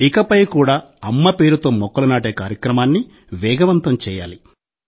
ఇకపై కూడా అమ్మ పేరుతో మొక్కలు నాటే కార్యక్రమాన్ని వేగవంతం చేయాలి